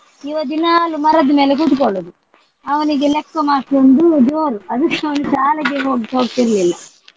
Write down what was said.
ಇವ ದಿನಾಲು ಮರದ ಮೇಲೆ ಕೂತ್ಕೊಳ್ಳುದು. ಅವನಿಗೆ ಲೆಕ್ಕ ಮಾಷ್ಟ್ರ್ರೊಂದು ಜೋರು ಅದಕ್ಕೆ ಅವನು ಶಾಲೆಗೇ ಹೋಗ್~ ಹೋಗ್ತಿರ್ಲಿಲ್ಲ.